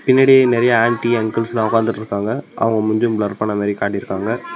பின்னாடி நெறையா ஆன்ட்டி அங்கிள்ஸ்லா உக்காந்துட்ருக்காங்க அவங்க மூஞ்சியு பிளர் பண்ண மாரி காட்டிருக்காங்க.